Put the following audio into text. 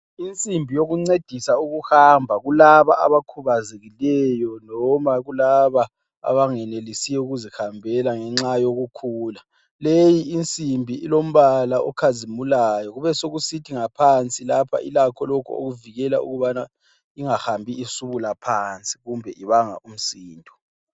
Insimbi yokuncedisa ukuhamba kulaba abakhubazekileyo noma kulaba abangenelisiyo ukuzihambela ngenxa yokukhula, leyi insimbi ilombala okhazimulayo kube sokusithi ngaphansi lapha ilakho lokhu okuvikela ukubana ingahambi isubula phansi kumbe ibanga umsindo.